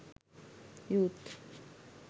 youth